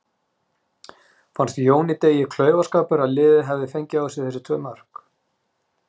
Fannst Jóni Degi klaufaskapur að liðið hafi fengið á sig þessi tvö mörk?